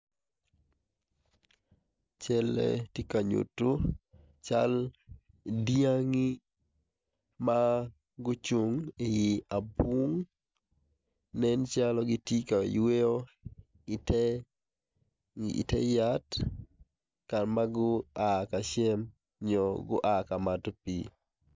Calle tye ka nyuto cal dyangi ma gucung i abunga nen calo gitye ka yweyo ite yat ka ma gua ka cam nyo gua ka mato pii.